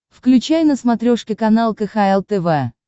включай на смотрешке канал кхл тв